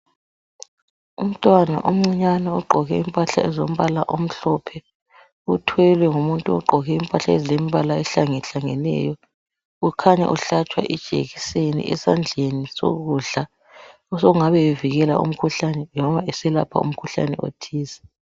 Umntwana omncinyane ogqoke impahla ezombala omhlophe, uthwelwe ngumuntu ogqoke impahla ezilembala ehlangahlangeneyo. Kukhanya uhlatshwa ijekiseni esandleni sokudla, osokungabe bevikela umkhuhlani loba beselapha umkhuhlani othize.